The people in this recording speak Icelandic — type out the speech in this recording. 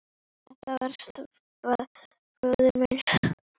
Þetta var stóri bróðir minn.